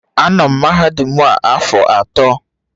Anọ m na mahadum a afọ atọ.